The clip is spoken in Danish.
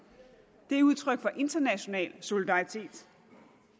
det er udtryk for international solidaritet